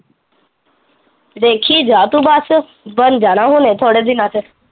ਦੇਖੀ ਜਾਂ ਤੂੰ ਬਸ, ਬਨ ਜਾਣਾ ਹੁਣ ਥੋੜੇ ਦਿਨਾਂ ਚ